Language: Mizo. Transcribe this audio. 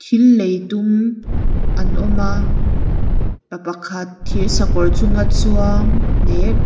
thil lei tum an awma pa pakhat thir sakawr chunga chuang leh--